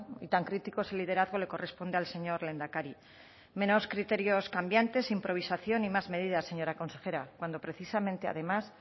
y tan crítico ese liderazgo le corresponde al señor lehendakari criterios cambiantes improvisación y más medidas señora consejera cuando precisamente además